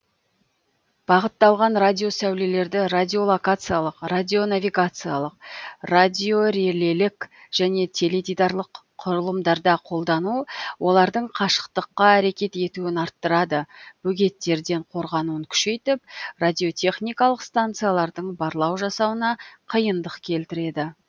бағытталған радиосәулелерді радиолокациялық радионавигациялық радиорелелік және теледидарлық құрылымдарда қолдану олардың қашықтыққа әрекет етуін арттырады бөгеттерден қорғануын күшейтіп радиотехникалық станциялардың барлау жасауына қиындық келтіреді